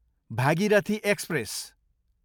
Bhagirathi express